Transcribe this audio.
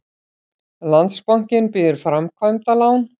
Landsbankinn býður framkvæmdalán